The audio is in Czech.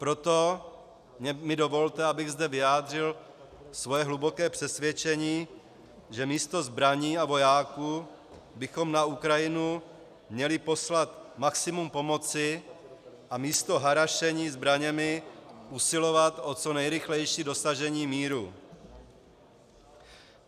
Proto mi dovolte, abych zde vyjádřil své hluboké přesvědčení, že místo zbraní a vojáků bychom na Ukrajinu měli poslat maximum pomoci a místo harašení zbraněmi usilovat o co nejrychlejší dosažení míru.